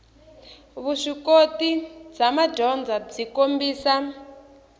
vuswikoti bya madyondza byi kombisa